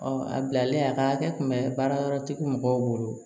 a bilalen a ka hakɛ kun bɛ baarayɔrɔtigi mɔgɔw bolo